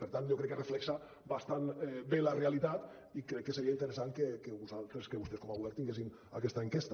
per tant jo crec que reflecteix bastant bé la realitat i crec que seria interessant que vostès com a govern tinguessin aquesta enquesta